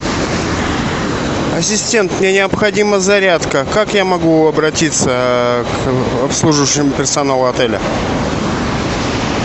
ассистент мне необходима зарядка как я могу обратиться к обслуживающему персоналу отеля